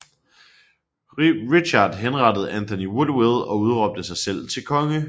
Richard henrettede Anthony Woodville og udråbte sig selv til konge